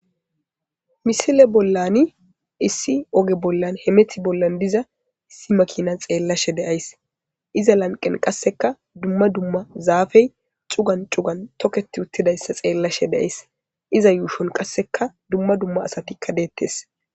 misile bollani issi oge bollan hemeti bollan diza issi makina xeellashe deays iza lanqen qasseka dumma dumma zaafey cugan cugan toketi uttidayssa xeellashe deays iza yuushon qasseka dumma dumma asatikka deettes